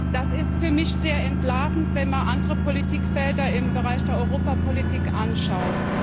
Das ist für mich sehr entlarvend, wenn man andere Politikfelder im Bereich der Europapolitik anschaut.